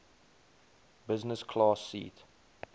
business class seat